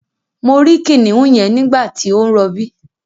Mo rí kìnìún yẹn nígbàtí ó ń rọbí